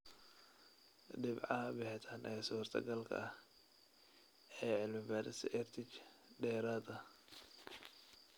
Dhibcaha bixitaan ee suurtogalka ah ee cilmi-baarista EdTech dheeraad ah.